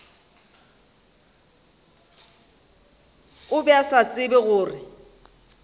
be a sa tsebe gore